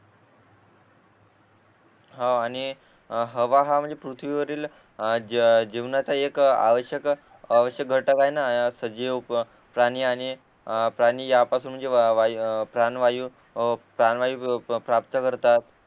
हो आणि हवा हा म्हणजे पृथ्वी वरील जीवनाचा एक आवश्यक आवश्यक घटक आहे ना सजीव प्राणी आणि अ प्राणी या पासून म्हणजे वायू प्राण वायू प्राण वायू प्राप्त करतात